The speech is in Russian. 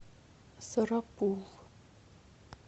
сарапул